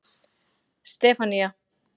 Stefanía